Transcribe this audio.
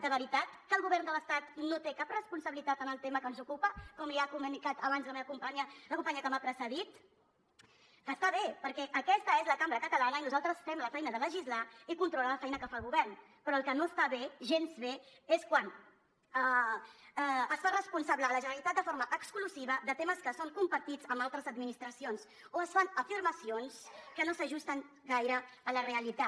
de veritat que el govern de l’estat no té cap responsabilitat en el tema que ens ocupa com li ha comunicat abans la companya que m’ha precedit que està bé perquè aquesta és la cambra catalana i nosaltres fem la feina de legislar i controlar la feina que fa el govern però el que no està bé gens bé és quan es fa responsable la generalitat de forma exclusiva de temes que són compartits amb altres administracions o es fan afirmacions que no s’ajusten gaire a la realitat